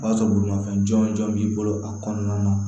O b'a sɔrɔ bolimanfɛn jɔn b'i bolo a kɔnɔna na